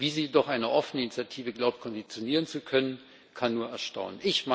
Wie sie jedoch eine offene Initiative glaubt konditionieren zu können, kann nur erstaunen.